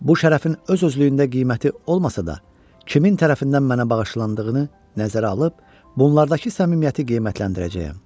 Bu şərəfin öz-özlüyündə qiyməti olmasa da, kimin tərəfindən mənə bağışlandığını nəzərə alıb, bunlardakı səmimiyyəti qiymətləndirəcəyəm.